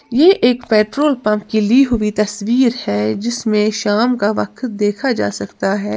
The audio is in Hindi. ये एक पेट्रोल पंप ली हुई तस्वीर है जिसमें शाम का वक्त देखा जा सकता है।